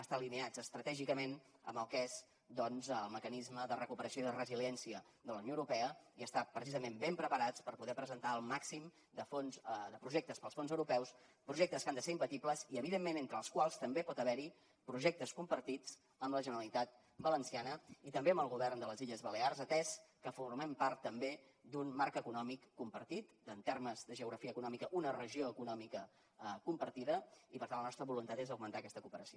estar alineats estratègicament amb el que és el mecanisme de recuperació i de resiliència de la unió europea i estar precisament ben preparats per poder presentar el màxim de projectes per als fons europeus projectes que han de ser imbatibles i evidentment entre els quals també pot haver hi projectes compartits amb la generalitat valenciana i també amb el govern de les illes balears atès que formem part també d’un marc econòmic compartit en termes de geografia econòmica una regió econòmica compartida i per tant la nostra voluntat és augmentar aquesta cooperació